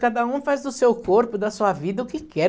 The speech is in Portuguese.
Cada um faz do seu corpo, da sua vida, o que quer.